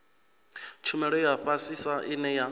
tshumelo ya fhasisa ine ya